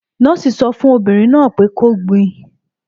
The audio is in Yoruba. Nọ́ọ́sì sọ fún obìnrin náà pẹ kó gbin!